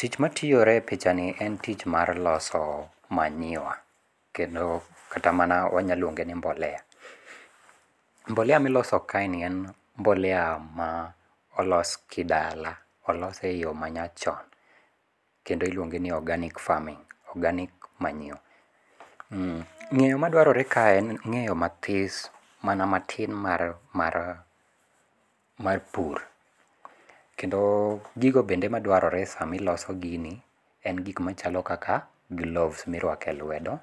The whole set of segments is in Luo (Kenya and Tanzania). Tich matiyore e pichani en tich mar loso manure, kendo kata mana wanyalo luong'e ni mboleya, mboleya ma iloso kaeni en mboleya ma olos kidala olose eyo manyachon, kendo iluonge ni organic farming, organic manure, ng'eyo maduarore kaeni en ng'eyo mathis mana matin mar pur, kendo gigo bende maduarore sami iloso gini, en gik machalo kaka gloves mirwake lwedo,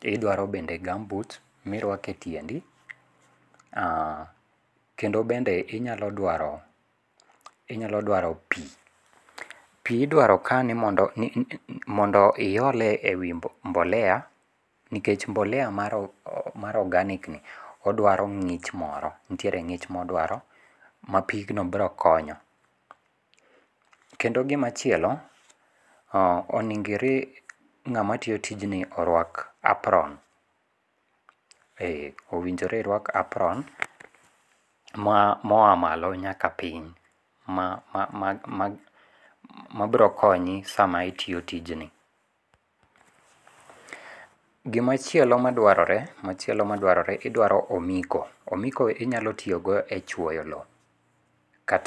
gidwaro bende gumboots miruako e tiendi, kendo bende inyalo dwaro inyalo dwaro pi, pi idwaro kae ni mondo iyole e wi mboleya, nikech mboleya mar organic ni odwaro ng'ich moro nitiere ng'ich modwaro ma pigno biro konyo, kendo gimachielo onigi ng'ama tiyo tijni orwak apron e owinjore irwak apron moya malo nyaka piny ma biro konyi sama itiyo tijni. Gimachielo madwarore machielo maduarore idwaro omiko, omiko idwaro tiyogo e chwoyo lowo kata